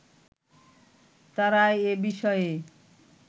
তারা এ বিষয়ে